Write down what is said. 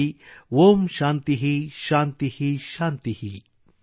ಓಂ ಶಾಂತಿಃ ಶಾಂತಿಃ ಶಾಂತಿಃ ||